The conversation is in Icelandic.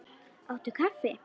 Áttu kaffi?